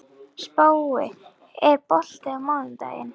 Spói, er bolti á mánudaginn?